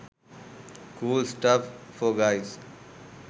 cool stuff for guys